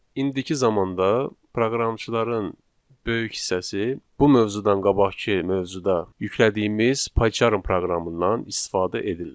İndiki zamanda proqramçıların böyük hissəsi bu mövzudan qabaqkı mövzuda yüklədiyimiz Pycharm proqramından istifadə edirlər.